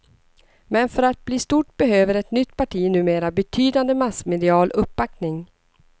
Men för att bli stort behöver ett nytt parti numera betydande massmedial uppbackning.